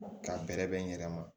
Ka bɛrɛbɛn n yɛrɛ ma